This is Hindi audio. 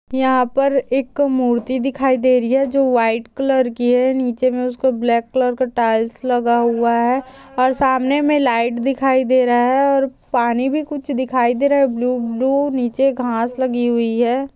यहा पर एक मूर्ति दिखाई दे रही है जो व्हाइट कलर की है नीचे मे उसको ब्लैक कलर का टाइल्स लगा हुआ है और सामने मे लाइट दिखाई दे रहा है और पानी भी कुछ दिखाई दे रहा है ब्लू ब्लू नीचे घास लगी हुई है।